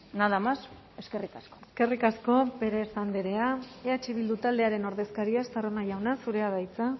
nada más eskerrik asko eskerrik asko pérez andrea eh bildu taldearen ordezkaria estarrona jauna zurea da hitza